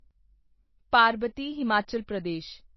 ਪਰਬਤੀ Himachal Pradesh